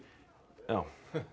já